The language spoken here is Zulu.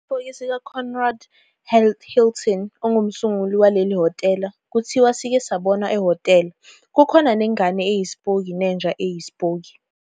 Isipoki sikaConrad Hilton ongumsunguli waleli hhotela kuthiwa sike sabonwa ehhotela, kukhona nengane eyisipoki nenja yesipoki.